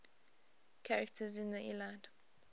characters in the iliad